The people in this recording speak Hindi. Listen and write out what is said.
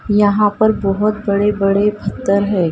यहां पर बहुत बड़े-बड़े पत्थर है--